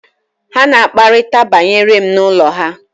ha na-akparịta banyere m n’ụlọ ha